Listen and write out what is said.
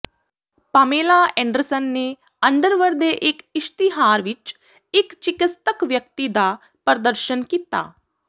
Pamela Anderson ਨੇ underwear ਦੇ ਇਕ ਇਸ਼ਤਿਹਾਰ ਵਿੱਚ ਇੱਕ ਚਿਕਿਤਸਕ ਵਿਅਕਤੀ ਦਾ ਪ੍ਰਦਰਸ਼ਨ ਕੀਤਾ